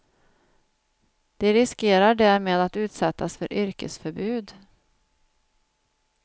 De riskerar därmed att utsättas för yrkesförbud.